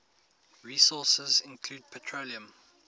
resources include petroleum